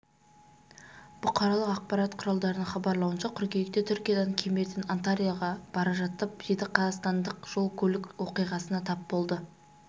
бұқаралық ақпарат құралдарының хабарлауынша қыркүйекте түркиядан кемерден анталияға бара жатып жеті қазақстандық жол-көлік оқиғасына тап болды